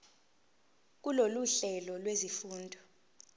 kulolu hlelo lwezifundo